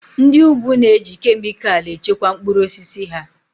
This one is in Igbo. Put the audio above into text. Ndị úgwù na-eji kemịkalụ echekwa mkpụrụ osisi ha